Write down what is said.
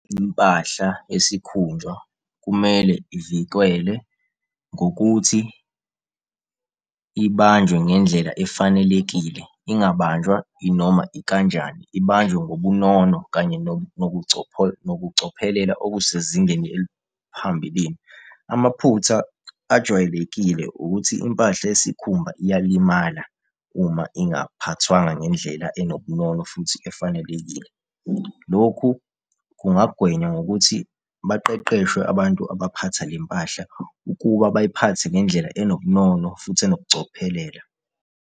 Impahla yesikhumba kumele ivikelwe ngokuthi ibanjwe ngendlela efanelekile, ingabanjwa inoma ikanjani. Ibanjwe ngobunono kanye nobucophelela okusezingeni eliphambilini. Amaphutha ajwayelekile ukuthi impahla yesikhumba iyalimala uma ingaphathwanga ngendlela enobunono futhi efanelekile. Loku kungagwenya ngokuthi baqeqeshwe abantu abaphatha le mpahla, ukuba bayiphathe ngendlela enobunono futhi enobucophelela.